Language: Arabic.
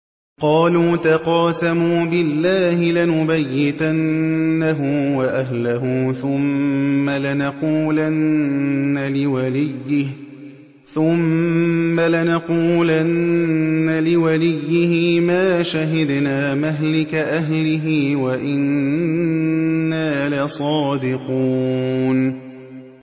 قَالُوا تَقَاسَمُوا بِاللَّهِ لَنُبَيِّتَنَّهُ وَأَهْلَهُ ثُمَّ لَنَقُولَنَّ لِوَلِيِّهِ مَا شَهِدْنَا مَهْلِكَ أَهْلِهِ وَإِنَّا لَصَادِقُونَ